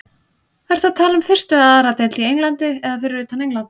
Ertu að tala um fyrstu eða aðra deild í Englandi eða fyrir utan England?